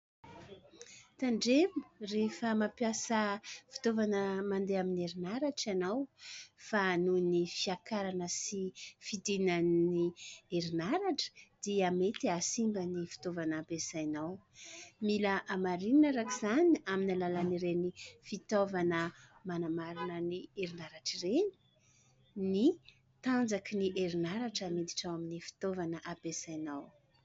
Tandremo ! Rehefa mampiasa fitaovana mandeha amin'ny herinaratra ianao. Fa nohon'ny fiankarana sy fidinan'ny herinaratra, dia mety hahasimba ny fitaovana ampisainao. Mila hamarinina araka izany, aminy alalan'ireny fitaovana manamarina ny herinaratra ireny, ny tanjakin'ny herinaratra miditra ao amin'ny fitaovana ampiasainao.